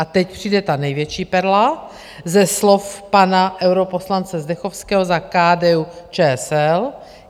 A teď přijde ta největší perla ze slov pana europoslance Zdechovského za KDU-ČSL.